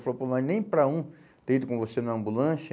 Ele falou, pô, mas nem para um ter ido com você na ambulância.